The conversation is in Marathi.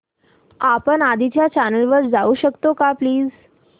आपण आधीच्या चॅनल वर जाऊ शकतो का प्लीज